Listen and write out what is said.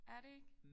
Er det ikke?